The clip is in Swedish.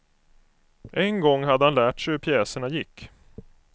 En gång hade han lärt sig hur pjäserna gick.